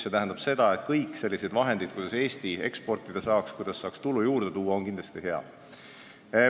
See tähendab seda, et kõik vahendid, mille abil Eesti saab rohkem eksportida ja rohkem tulu teenida, on head.